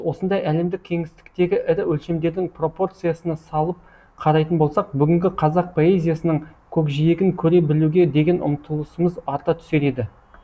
осындай әлемдік кеңістіктегі ірі өлшемдердің пропорциясына салып қарайтын болсақ бүгінгі қазақ поэзиясының көкжиегін көре білуге деген ұмтылысымыз арта түсер еді